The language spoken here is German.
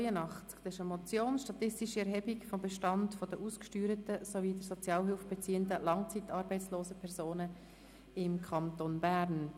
Es handelt sich um die Motion «Statistische Erhebung des Bestandes der ausgesteuerten sowie der Sozialhilfe beziehenden langzeitarbeitslosen Personen im Kanton Bern».